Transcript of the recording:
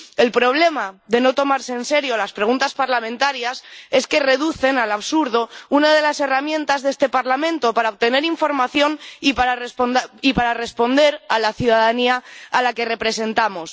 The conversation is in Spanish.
El problema de no tomarse en serio las preguntas parlamentarias es que reducen al absurdo una de las herramientas de este Parlamento para obtener información y para responder a la ciudadanía a la que representamos.